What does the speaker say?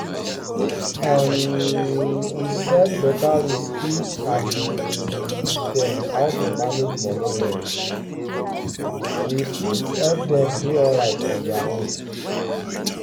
if um we set beta rules each um dem how to manage money well we fit help dem dey alright on their own.